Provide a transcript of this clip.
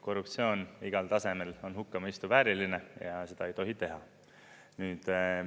Korruptsioon igal tasemel on hukkamõistu vääriline ja seda ei tohi teha.